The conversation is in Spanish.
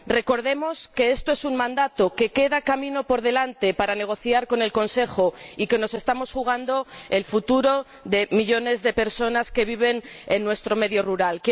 Recordemos que esto es un mandato, que queda camino por delante para negociar con el Consejo y que nos estamos jugando el futuro de millones de personas que viven en nuestro medio rural.